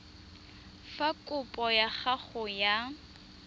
fa kopo ya gago ya